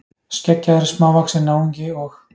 Skeggjaður, smávaxinn náungi og.